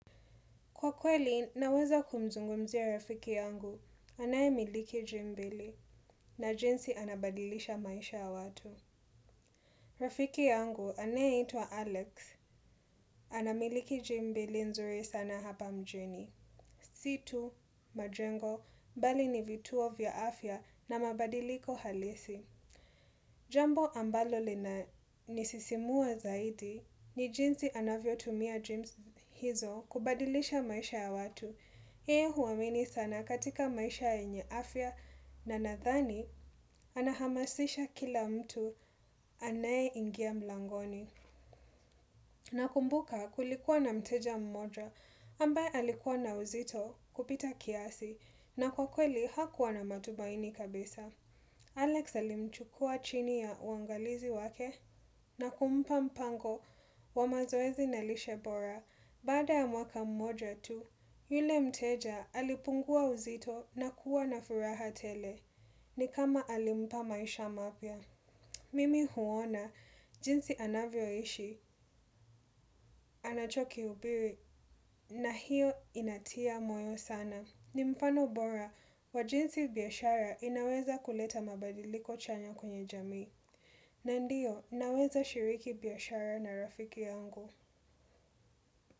Kwa kweli, naweza kumzungumzia rafiki yangu anaye miliki gym mbili na jinsi anabadilisha maisha ya watu. Rafiki yangu anayeitwa Alex, anamiliki gym mbili nzuri sana hapa mjini. Si tu majengo, bali ni vituo vya afya na mabadiliko halisi. Jambo ambalo linanisisimua zaidi, ni jinsi anavyo tumia gyms hizo kubadilisha maisha ya watu. Hii huamini sana katika maisha yenye afya na nadhani anahamasisha kila mtu anayeingia mlangoni. Nakumbuka kulikuwa na mteja mmoja ambaye alikuwa na uzito kupita kiasi na kwa kweli hakuwa na matumaini kabisa. Alex alimchukua chini ya uangalizi wake na kumpa mpango wa mazoezi na lishe bora. Baada ya mwaka moja tu, yule mteja alipungua uzito na kuwa na furaha tele, ni kama alimpa maisha mapya. Mimi huona, jinsi anavyo ishi, anacho kihubiri na hio inatia moyo sana. Ni mfano bora, wa jinsi biashara inaweza kuleta mabadiliko chanya kwenye jamii, na ndio, naweza shiriki biashara na rafiki yangu.